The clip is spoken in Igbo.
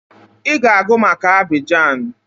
I ga-agụ maka Abidjan!